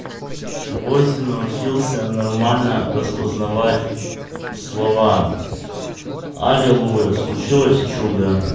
восемь научился нормально распознавать слова аллилуйя случилось чудо